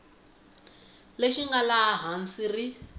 lexi nga laha hansi ri